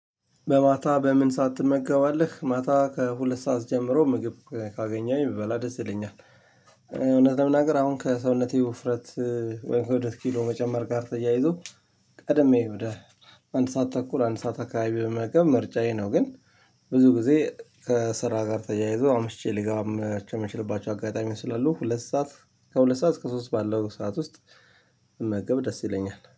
በማታ በምን ሰዓት ትመገባለህ ማታ ከሁለት ሰዓት ጀምሮ ምግብ ካገኘሁኝ ብበላ ደስ ይለኛል። እውነት ለመናገር አሁን ከሰውነቴ ውፍረት ወይም ከብደት ኪሎ መጨመር ጋር ተያይዞ። ቀድሜ ወደ አንድ ሰዓት ተኩል አንድ ሰዓት አካባቢ ብመገብ ምርጫዬ ነው። ግን ብዙ ጊዜ ከስራ ጋር ተያይዞ አምሽቼ ልገባቸው የምችልባቸው አጋጣሚ ስላሉ ሁለት ሰዓት ከሁለት ሰዓት እስከ ሶስት ባለው ሰዓት ውስጥ ብመገብ ደስ ይለኛል